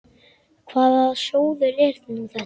Hvaða sjóður er nú þetta?